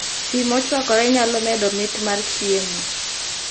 Pii mochwakore nyalo medo mit mar chiemo